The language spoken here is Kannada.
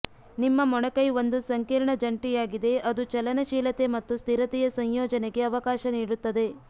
ನಿಮ್ಮ ಮೊಣಕೈ ಒಂದು ಸಂಕೀರ್ಣ ಜಂಟಿಯಾಗಿದೆ ಅದು ಚಲನಶೀಲತೆ ಮತ್ತು ಸ್ಥಿರತೆಯ ಸಂಯೋಜನೆಗೆ ಅವಕಾಶ ನೀಡುತ್ತದೆ